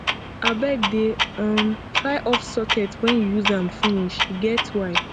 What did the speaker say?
abeg dey um try off socket wen you use am finish e get why